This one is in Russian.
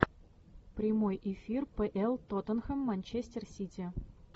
прямой эфир пл тоттенхэм манчестер сити